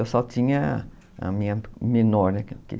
Eu só tinha a minha menor, né?